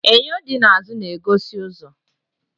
Enyo di n'azụ na-egosi ụzọ.